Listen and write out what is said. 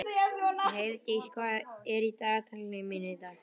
Heiðdís, hvað er í dagatalinu mínu í dag?